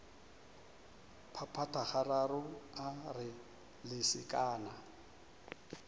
phaphatha gararo a re lesekana